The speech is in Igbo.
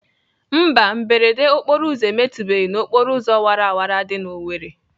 Mba, mberede okporoụzọ emetụbeghị n'okporoụzọ wara wara dị n'Owerri.